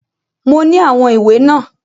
Mo ní àwọn ìwé náà.